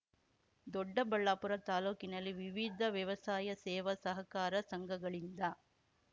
ದೊಡ್ಡಬಳ್ಳಾಪುರ ತಾಲೂಕಿನಲ್ಲಿ ವಿವಿಧ ವ್ಯವಸಾಯ ಸೇವಾ ಸಹಕಾರ ಸಂಘಗಳಿಂದ